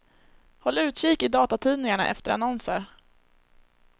Håll utkik i datatidningarna efter annonser.